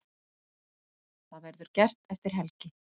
Það verður gert eftir helgi.